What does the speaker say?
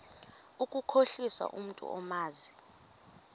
ukukhohlisa umntu omazi